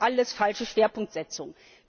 Das sind alles falsche Schwerpunktsetzungen!